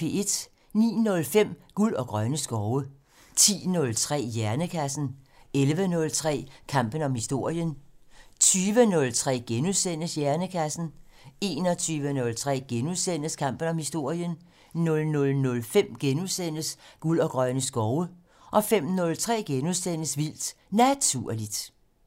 09:05: Guld og grønne skove 10:03: Hjernekassen 11:03: Kampen om historien 20:03: Hjernekassen * 21:03: Kampen om historien * 00:05: Guld og grønne skove * 05:03: Vildt Naturligt *